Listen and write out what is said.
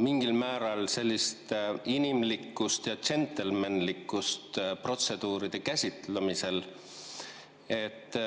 mingil määral sellist inimlikkust ja džentelmenlikkust protseduuride käsitlemisel.